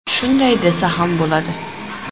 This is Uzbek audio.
Shunday desa ham bo‘ladi.